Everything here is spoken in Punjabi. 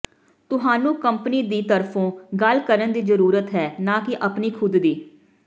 ਤੁਹਾਨੂੰ ਕੰਪਨੀ ਦੀ ਤਰਫੋਂ ਗੱਲ ਕਰਨ ਦੀ ਜ਼ਰੂਰਤ ਹੈ ਨਾ ਕਿ ਆਪਣੀ ਖੁਦ ਦੀ